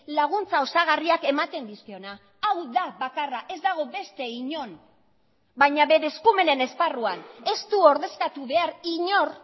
laguntza osagarriak ematen dizkiona hau da bakarra ez dago beste inon baina bere eskumenen esparruan ez du ordezkatu behar inor